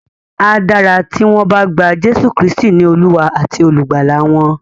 A dára tí wọ́n bá gba Jésù Kristì ní Olúwa àti Olùgbàlà wọn.